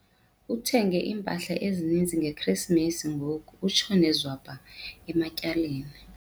Uthenge impahla eninzi ngeKrisimesi ngoku utshone zwabha ematyaleni.